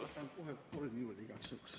Võtan kohe kolm minutit juurde igaks juhuks.